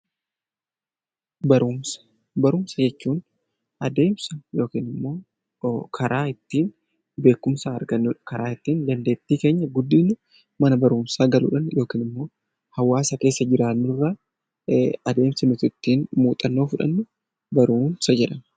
Barumsa jechuun adeemsa yookiin karaa ittiin beekumsa argannu karaa ittiin dandeettii keenya guddifnu mana barumsaa galuudhaan yookiin hawaasa keessa jiraannurraa adeemsa nuti ittiin muuxannoo fudhannudha